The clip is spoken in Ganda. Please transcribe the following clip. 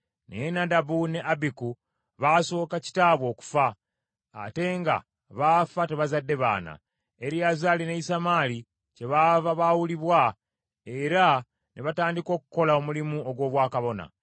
Naye Nadabu ne Abiku baasooka kitaabwe okufa, ate nga baafa tebazzadde baana. Eriyazaali ne Isamaali kyebaava baawulibwa era ne batandika okukola omulimu ogw’obwakabona.